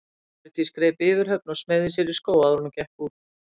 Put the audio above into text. Hjördís greip yfirhöfn og smeygði sér í skó áður en hún gekk út.